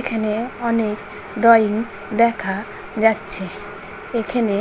এখানে অনেক ড্রয়িং দেখা যাচ্ছে। এখানে